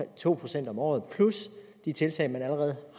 to procent om året plus de tiltag der allerede